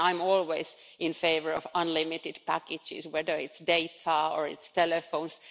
And I'm always in favour of unlimited packages, whether it's data or telephones.